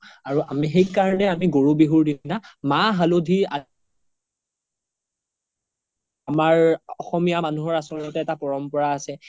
আৰু আমি সেই কাৰনে আমি গৰু বিহুৰ দিনা মা হাল্ধী আমাৰ অসমীয়া মানুহৰ আচ্ল্তে এটা পৰম্পাৰা আছে